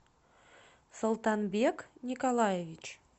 султанбек николаевич